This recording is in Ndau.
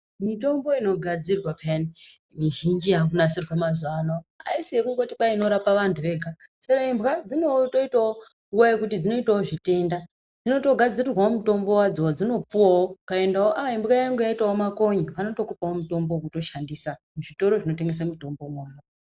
Mitombo inogadzirwa phiyani, mizhinji yakunasirwa mazuva ano haisi yekungoti kwai inorapa vantu vega. Chero imbwa dzinotoitawo nguva yekuti dzinoitawo zvitenda. Dzino togadzirirwa wo mutombo wadzo wadzinopuwawo. Ukaendawo ah imbwa yangu yaitawo makonye, vanotokupawo mutombo wekutoshandisa muzvitoro zvinotengesa mitombo imona.